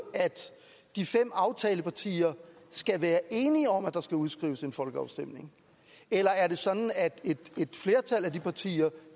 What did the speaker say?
at de fem aftalepartier skal være enige om at der skal udskrives en folkeafstemning eller er det sådan at et flertal af de partier